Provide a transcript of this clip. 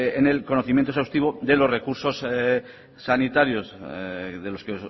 en el conocimiento exhaustivo de los recursos sanitarios de los que